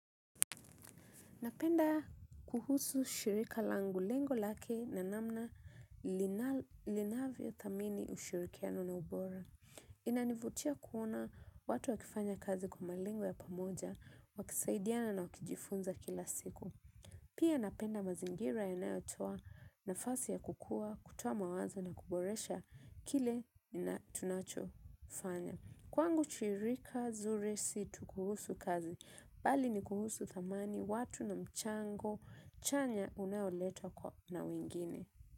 Napenda kuhusu shirika langu lengo lake na namna linavyo thamini ushirikiano na ubora. Inanivutia kuona watu wakifanya kazi kwa malengo ya pamoja wakisaidiana na kujifunza kila siku. Pia napenda mazingira ya nayotua na fasi ya kukua, kutuwa mawazo na kuboresha kile na tunacho fanya. Kwangu chirika zuri situ kuhusu kazi, bali ni kuhusu thamani, watu na mchango, chanya unayoletwa kwa na wengine.